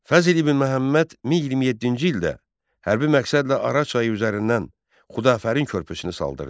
Fəzl İbn Məhəmməd 1027-ci ildə hərbi məqsədlə Araz çayı üzərindən Xudafərin körpüsünü saldırırdı.